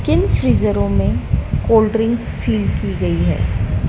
किन फ्रिजरो में कोल्ड ड्रिंक्स फिल की गई है।